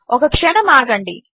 ఒక క్షణము ఆగండి